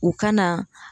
U ka na